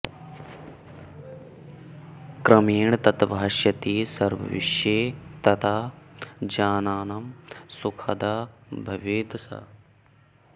क्रमेण तत् भास्यति सर्वविश्वे तदा जनानां सुखदा भवेत् सा